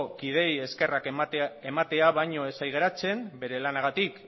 kideei eskerrak ematea baino ez zait geratzen bere lanagatik